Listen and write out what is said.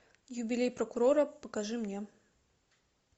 юбилей прокурора покажи мне